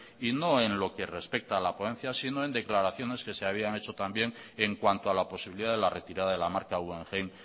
y no en lo que respecta a la ponencia sino en declaraciones que se habían hecho también en cuanto a la posibilidad de la retirada de la marca guggenheim